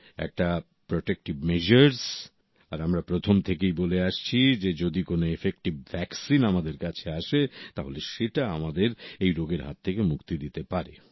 একটা protective measures আর আমরা প্রথম থেকেই বলে আসছি যে যদি কোন এফেক্টিভ ভ্যাকসিন আমাদের কাছে আসে তাহলে সেটা আমাদের এই রোগের হাত থেকে মুক্তি দিতে পারে